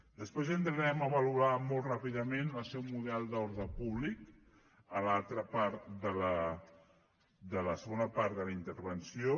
després entrarem a valorar molt ràpidament el seu model d’ordre públic en la segona part de la intervenció